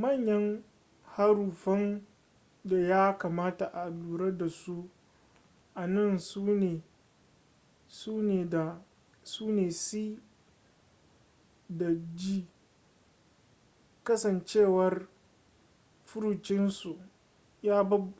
manyan haruffan da ya kamata a lura da su a nan sune c da g kasancewar furucinsu